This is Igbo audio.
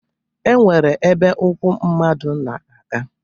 E nwere ebe ụkwụ mmadụ na-aga